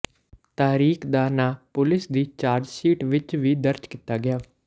ਤਾਰਿਕ ਦਾ ਨਾਂ ਪੁਲਸ ਦੀ ਚਾਰਜਸ਼ੀਟ ਵਿਚ ਵੀ ਦਰਜ ਕੀਤਾ ਗਿਆ